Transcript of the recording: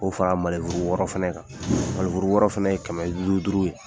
K'o fa wɔɔrɔ fɛnɛ kan, wɔɔrɔ fɛnɛ ye, kɛmɛ lu duuru ye